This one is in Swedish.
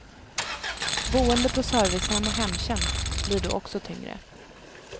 Boende på servicehem och hemtjänst blir då också tyngre.